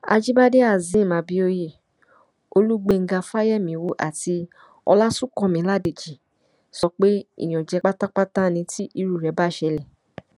àjíbádé hasim abioye olùgbèńgá fáyemíwò àti ọlásùnkànmí ládèjì sọ pé ìyànjẹ pátápátá ni tí irú rẹ bá ṣẹlẹ